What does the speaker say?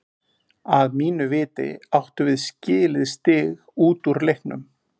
Að mínu viti áttum við skilið stig út úr leiknum.